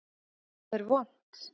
Það er vont.